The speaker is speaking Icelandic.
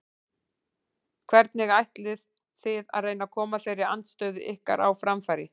Hvernig ætlið þið að reyna að koma þeirri andstöðu ykkar á framfæri?